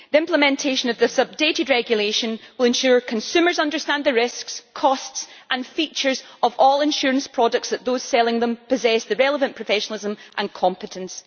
The implementation of this updated regulation will ensure consumers understand the risks, costs and features of all insurance products and that those selling them possess the relevant professionalism and competence.